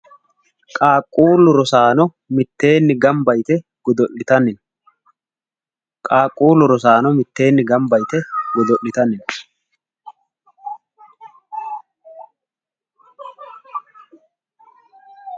Qaaquullu rosaano mitteenni gambba yite godo'litanni no. Qaaquullu rosaano mitteenni gambba yite godo'litanni no.